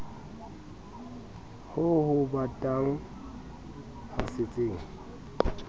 ho o batang ba setseng